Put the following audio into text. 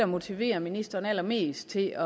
motiverer ministeren allermest til